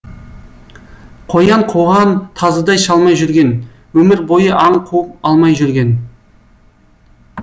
қоян қуған тазыдай шалмай жүрген өмір бойы аң қуып алмай жүрген